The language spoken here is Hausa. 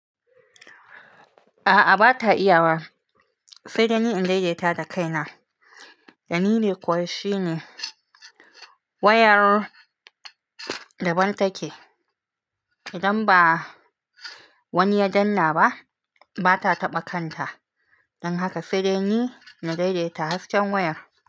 A'a, ba ta iya wa sai dai ni in daidaita ta da kaina. Dalili kuwa shine wayar da ban take. Idan ba wani ya danna ba, ba ta taɓa kanta. Don haka sai dai ni na daidaita hasken wayar.